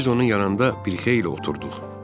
Biz onun yanında bir xeyli oturduq.